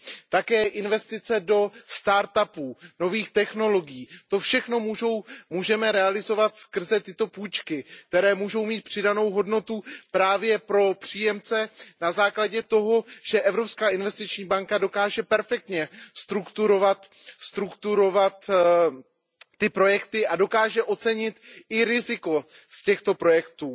Také investice do start up, nových technologií, to všechno můžeme realizovat skrze tyto půjčky, které můžou mít přidanou hodnotu právě pro příjemce na základě toho, že Evropská investiční banka dokáže perfektně strukturovat ty projekty a dokáže ocenit i riziko z těchto projektů.